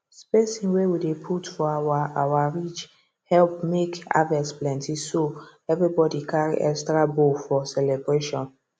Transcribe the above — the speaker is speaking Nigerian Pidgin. spacing wey we dey put for our our ridge help make harvest plenty so everybody carry extra bowl for celebration